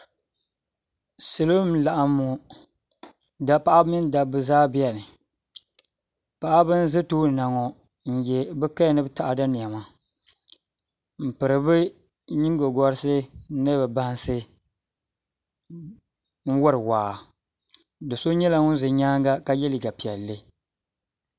Salo n laɣam ŋɔ paɣaba mini dabba zaa biɛni paɣaba n ʒɛ tooni na ŋɔ n nyɛ bi kaya ni taada niɛma n piri bi nyingokoriti ni bi bansi n wori waa do so nyɛla ŋun ʒɛ nyaanga ka yɛ liiga piɛlli